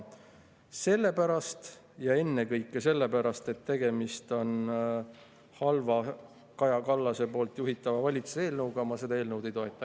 Sellepärast ja ennekõike sellepärast, et tegemist on halva, Kaja Kallase juhitava valitsuse eelnõuga, ma seda eelnõu ei toeta.